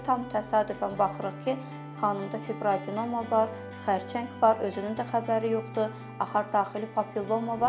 Tam təsadüfən baxırıq ki, xanımda fibroadenoma var, xərçəng var, özünün də xəbəri yoxdur, axar daxili papiloma var.